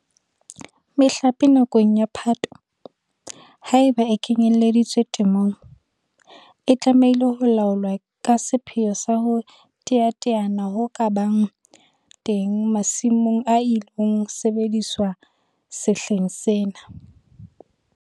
Mehlape nakong ya Phato, haeba e kenyeleditswe temong, e tlamehile ho laolwa ka sepheo sa ho teteana ho ka bang teng masimong a ilo sebediswa sehleng sena.